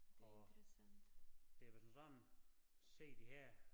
Og det var som sådan se de her